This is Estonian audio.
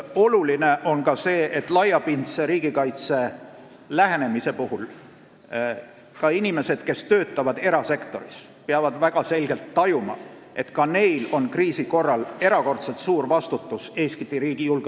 Oluline on see, et laiapindse riigikaitse puhul peavad ka inimesed, kes töötavad erasektoris, väga selgelt tajuma, et neilgi on kriisi korral erakordselt suur vastutus Eesti riigi ees.